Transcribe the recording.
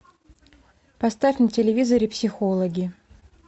поставь на телевизоре психологи